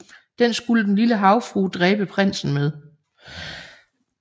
Den skulle Den lille havfrue dræbe prinsen med